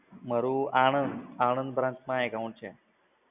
મારુ આણંદ આણંદ branch માં account છે સર.